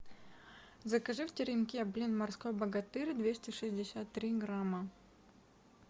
закажи в теремке блин морской богатырь двести шестьдесят три грамма